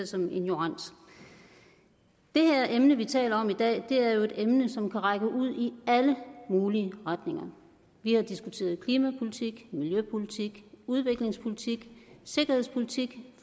som ignorant det her emne vi taler om i dag er jo et emne som kan række ud i alle mulige retninger vi har diskuteret klimapolitik miljøpolitik udviklingspolitik sikkerhedspolitik